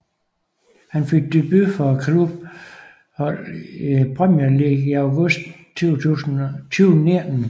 Han fik debut for klubbens hold i Premier League i august 2019